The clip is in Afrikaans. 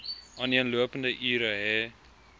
aaneenlopende ure hê